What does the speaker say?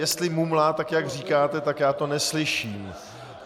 Jestli mumlá tak, jak říkáte, tak já to neslyším.